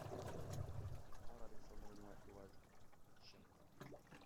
тамара александровна иваченко